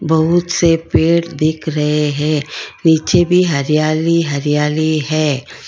बहुत से पेड़ दिख रहे है नीचे भी हरियाली हरियाली है।